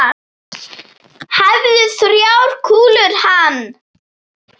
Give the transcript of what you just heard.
Hæfðu þrjár kúlur hann.